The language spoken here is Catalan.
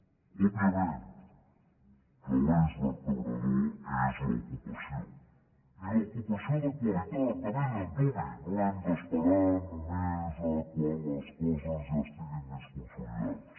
òbviament que l’eix vertebrador és l’ocupació i l’ocupació de qualitat de bell antuvi no hem d’esperar només quan les coses ja estiguin més consolidades